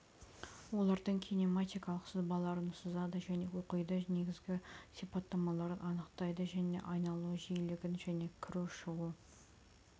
олардың кинематикалық сызбаларын сызады және оқиды негізгі сипаттамаларын анықтайды және айналу жиілігін және кіру және шығу